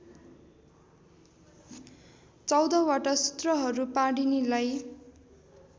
१४वटा सुत्रहरू पाणिनीलाई